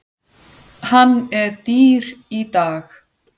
Hann er dýr í dag.